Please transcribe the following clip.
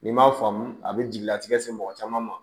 N'i m'a faamu a bɛ jigilatigɛ se mɔgɔ caman ma